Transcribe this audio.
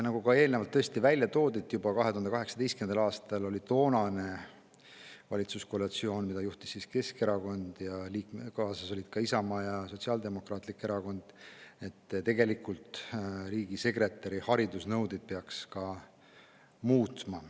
Nagu eelnevalt juba mainitud, otsustas juba 2018. aastal toonane valitsuskoalitsioon, mida juhtis Keskerakond ja kaasas olid ka Isamaa ja Sotsiaaldemokraatlik Erakond, et riigisekretäri haridusnõudeid peaks muutma.